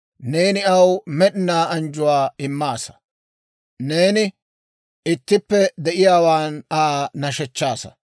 Neeni aw med'inaa anjjuwaa immaasa; neeni ittippe de'iyaawaan Aa nashechchaasa.